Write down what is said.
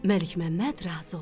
Məlikməmməd razı oldu.